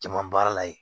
Jama baarala ye